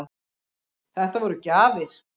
Þetta voru gjafir.